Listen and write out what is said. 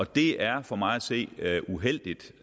det er for mig at se uheldigt